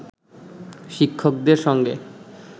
শিক্ষকদের সঙ্গে